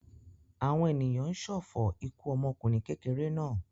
Àwọn ènìyàn ń ṣọ̀fọ̀ ikú ọmọkùnrin kékeré náà.